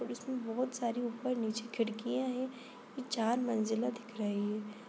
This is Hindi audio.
इसमें बहुत सारी ऊपर-नीचे खिड़कियां है| यह चार मंजिला दिख रही है।